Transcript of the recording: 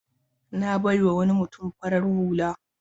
Na bai wa wani mutum farar hulata.